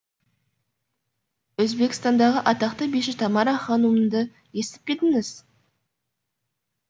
өзбекстандағы атақты биші тамара ханумды естіп пе едіңіз